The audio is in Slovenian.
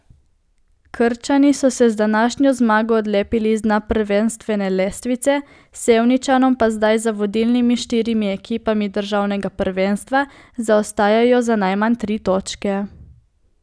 Krčani so se z današnjo zmago odlepili z dna prvenstvene lestvice, Sevničanom pa zdaj za vodilnimi štirimi ekipami državnega prvenstva zaostajajo za najmanj tri točke.